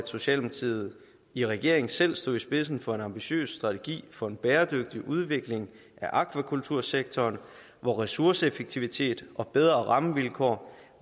socialdemokratiet i regering selv stod i spidsen for en ambitiøs strategi for en bæredygtig udvikling af akvakultursektoren hvor ressourceeffektivitet og bedre rammevilkår